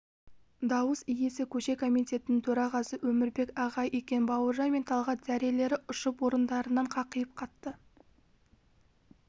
дауыс иесі көше комитетінің төрағасы өмірбек ағай екен бауыржан мен талғат зәрелері ұшып орындарында қақиып қатты